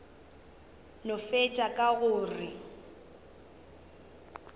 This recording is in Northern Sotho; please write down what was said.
no fetša ka go re